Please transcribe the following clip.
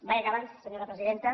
vaig acabant senyora presidenta